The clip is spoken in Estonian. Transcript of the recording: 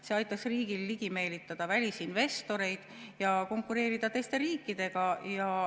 See aitaks riigil ligi meelitada välisinvestoreid ja konkureerida teiste riikidega.